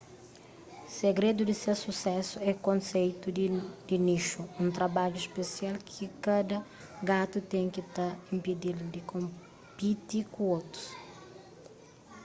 segredu di ses susésu é konseitu di nixu un trabadju spesial ki kada gatu ten ki ta inpedi-l di konpiti ku otus